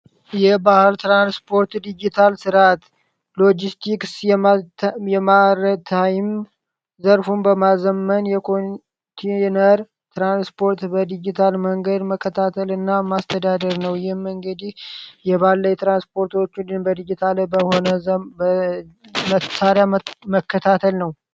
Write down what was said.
የባህር ትራንስፖርት ዲጂታል ስርአት የማር ታይም ዘርፉን በማዘመን ትራንስፖርት በዲጂታል መንገድ መከታተልና ማስተዳደር ነው ዘመናዊ በሆነ መከታተል ነው።